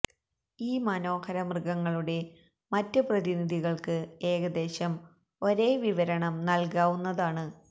ഈ മനോഹര മൃഗങ്ങളുടെ മറ്റ് പ്രതിനിധികൾക്ക് ഏകദേശം ഒരേ വിവരണം നൽകാവുന്നതാണ്